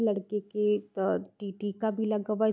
लड़के के त टी टी का --